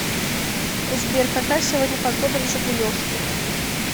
сбер какая сегодня погода в жигулевске